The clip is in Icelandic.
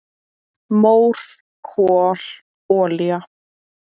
"""Mór, kol, olía"""